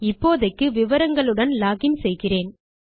இப்போதைக்கு விவரங்களுடன் லோகின் செய்கிறேன்